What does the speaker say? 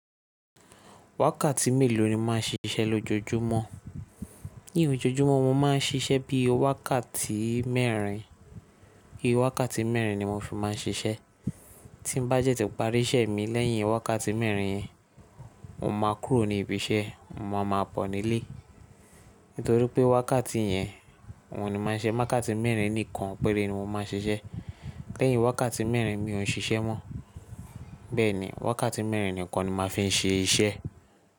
Wákàtí mélòó ni mo máà ń fi ṣiṣẹ́ lójoojúmọ́? Ní ojoojúmọ́ mo máa ń ṣiṣẹ́ bí i wákàtí mẹ́rin, bí i wákàtí mẹ́rin ni mo fi máa ń ṣiṣẹ́. Tí n bá de ti parí iṣẹ́ mi lẹ́yìn wákàtí mẹ́rin yẹn, mo máa kúrò ní ibi iṣẹ́, mo máa bo nílé. Nítorí pé wákàtí yẹn ní mo máa n ṣe ise, wákàtí mẹ́rin nìkan péré ni mo máa ń ṣiṣẹ́. Lẹ́yìn wákàtí mẹ́rin mi ò ń ṣiṣẹ́ mọ́. Bẹ́ẹ̀ ni, wákàtí mẹ́rin nìkan ni mo màá fi ń ṣe iṣẹ́.